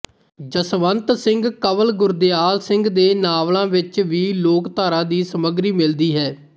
ਜਸਵੰਤ ਸਿੰਘ ਕੰਵਲਗੁਰਦਿਆਲ ਸਿੰਘ ਦੇ ਨਾਵਲਾਂ ਵਿੱਚ ਵੀ ਲੋਕਧਾਰਾ ਦੀ ਸਮੱਗਰੀ ਮਿਲਦੀ ਹੈ